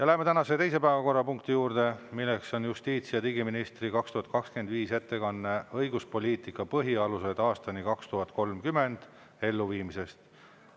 Läheme tänase teise päevakorrapunkti juurde, milleks on justiits- ja digiministri 2025. aasta ettekanne "Õigusloomepoliitika põhialused aastani 2030" elluviimisest.